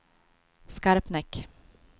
Skarpnäck